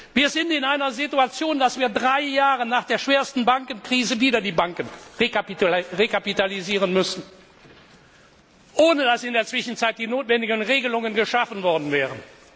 Wir sind in einer Situation, dass wir drei Jahre nach der schwersten Bankenkrise wieder die Banken rekapitalisieren müssen, ohne dass in der Zwischenzeit die notwendigen Regelungen geschaffen worden wären.